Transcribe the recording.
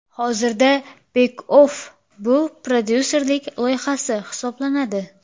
Hozirda @Beckoff bu prodyuserlik loyihasi hisoblanadi.